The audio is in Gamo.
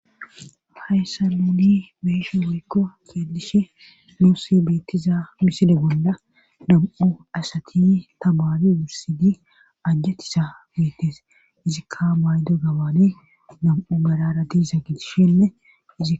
Hayssa mouni beeshe worikko keelishe luusi beettiza miside gonda nam7u asati tabaadi wursidi ajjatisa beetes izikka maydo gabaane nam7u balara ti za gitishenneizi.